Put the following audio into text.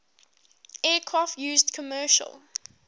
aircraft used commercial